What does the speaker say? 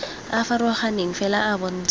a farologaneng fela a bontsha